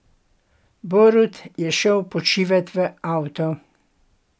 Borut je šel počivat v avto.